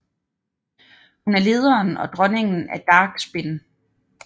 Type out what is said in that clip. Hun er lederen og dronningen af Dark Spin